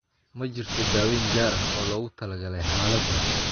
Ma jirto daaweyn gaar ah oo loogu talagalay xaaladdan.